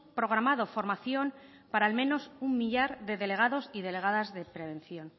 programado formación para al menos un millar de delegados y delegadas de prevención